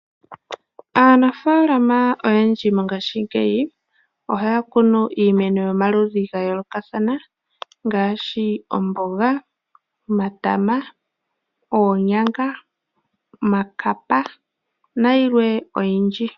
Aanafalama oyendji mongashingeyi ohaya kunu iimeno yomaludhi ga yoolokathana ngaashi omboga, omatama ,oonyanga ,omakapa nayilwe oyindji.